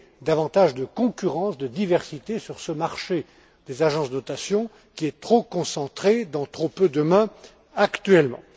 davantage de concurrence, de diversité sur ce marché des agences de notation, qui est concentré dans trop peu de mains actuellement.